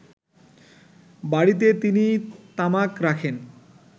বাড়ীতে তিনি তামাক রাখেন